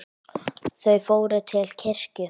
Þau fór til kirkju.